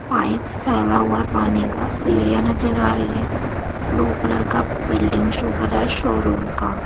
Pipe फैला हुआ है पानी का सीढ़ियाँ नज़र आ रही हैं ब्लू कलर का बिल्डिंग शो कर रहा है शोरूम का।